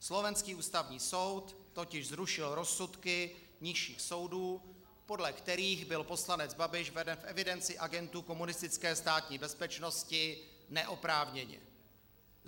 Slovenský Ústavní soud totiž zrušil rozsudky nižších soudů, podle kterých byl poslanec Babiš veden v evidenci agentů komunistické státní bezpečnosti neoprávněně.